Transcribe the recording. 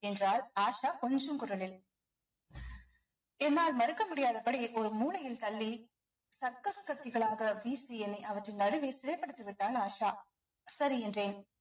என்றாள் ஆஷா கொஞ்சும் குரலில் என்னால் மறுக்க முடியாதபடி ஒரு மூலையில் தள்ளி சர்க்கஸ் கத்திகளாக வீசி என்னை அவற்றின் நடுவில் சிறை பிடித்து விட்டாள் ஆஷா சரி என்றேன்